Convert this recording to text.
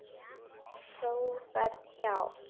Þú ferð hjá